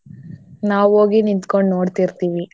ನಾವ್ ಹೋಗಿ ನಿತ್ಕೊಂಡ್ ನೋಡ್ತಿರ್ತೀವಿ.